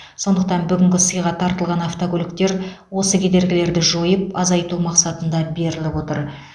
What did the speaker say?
сондықтан бүгінгі сыйға тартылған автокөліктер осы кедергілерді жойып азайту мақсатында беріліп отыр